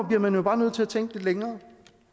bliver man bare nødt til at tænke lidt længere